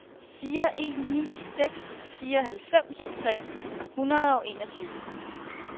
fire en ni seks fireoghalvfems tre hundrede og enogtyve